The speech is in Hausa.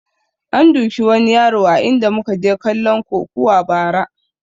An duki wani yaro a inda muka je kalon kokuwa ba ra